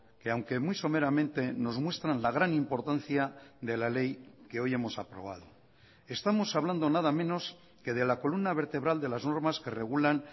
que aunque muy someramente nos muestran la gran importancia de la ley que hoy hemos aprobado estamos hablando nada menos que de la columna vertebral de las normas que regulan